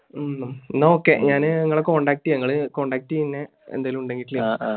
ഉം. എന്ന okay. ഞാൻ നിങ്ങളെ contact ചെയ്യാം. നിങ്ങളെ contact ചെയ്യാം ഞാൻ. എന്തേലും ഉണ്ടേൽ വിളിക്കാം.